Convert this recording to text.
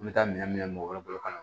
N bɛ taa minɛn min mɔgɔ wɛrɛ bolo